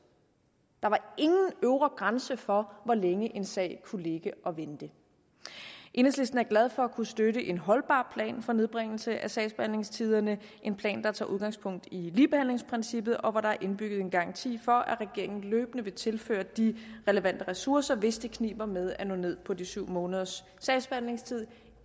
der var ingen øvre grænse for hvor længe en sag kunne ligge og vente enhedslisten er glad for at kunne støtte en holdbar plan for nedbringelse af sagsbehandlingstiderne en plan der tager udgangspunkt i ligebehandlingsprincippet og hvor der er indbygget en garanti for at regeringen løbende vil tilføre de relevante ressourcer hvis det kniber med at nå ned på de syv måneders sagsbehandlingstid